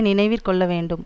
நினைவிற் கொள்ள வேண்டும்